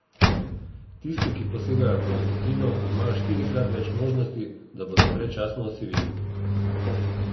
Tisti, ki posegajo po nikotinu, imajo štirikrat več možnosti, da bodo predčasno osiveli.